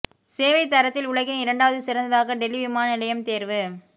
சேவை தரத்தில் உலகின் இரண்டாவது சிறந்ததாக டெல்லி விமான நிலையம் தேர்வு